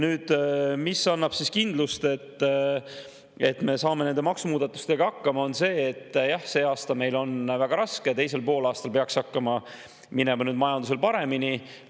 Aga mis annab kindlust, et me saame nende maksumuudatustega hakkama, on see, et kuigi see aasta on meil väga raske, siis teisel poolaastal peaks hakkama minema majandusel paremini.